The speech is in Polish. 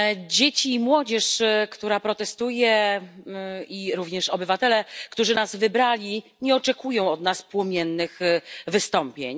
Dzieci i młodzież, która protestuje, i również obywatele, którzy nas wybrali, nie oczekują od nas płomiennych wystąpień.